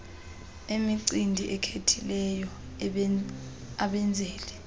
emicimbi ekhethekileyo abenzeli